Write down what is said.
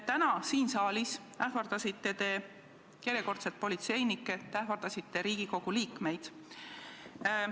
Täna siin saalis te ähvardasite järjekordselt politseinikke, ähvardasite Riigikogu liikmeid.